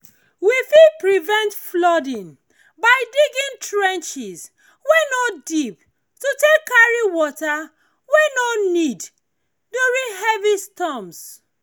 we fit prevent flooding by digging trenches wey no deep to take carry water wey we no need during heavy storms